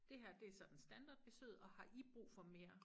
Det her det sådan standardbesøget og har i brug for mere